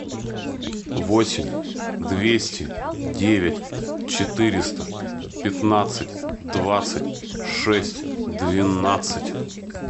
восемь двести девять четыреста пятнадцать двадцать шесть двенадцать